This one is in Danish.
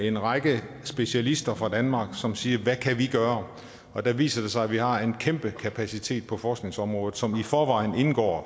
en række specialister fra danmark som sagde hvad kan vi gøre og der viser det sig at vi har en kæmpe kapacitet på forskningsområdet som heldigvis i forvejen indgår